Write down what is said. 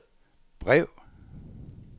brev